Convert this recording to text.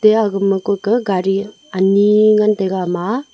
eya aga ma kua ke gari ani ngan taiga ama a.